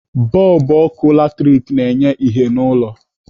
Bọlbụ ọkụ latrik na-enye ìhè n'ụlọ.